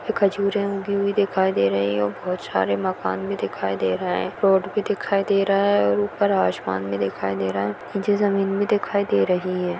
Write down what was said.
खजूरें उगी हुई दिखाई दे रही है और बहोत सारे मकान भी दिखाई दे रहे है रोड भी दिखाई दे रहा है और ऊपर आसमान भी दिखाई दे रहा है नीचे जमीन भी दिखाई दे रही है।